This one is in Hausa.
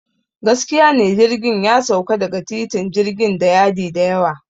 Gaskiya ne, jirgin ya sauka daga titin jirgin da yadi da yawa.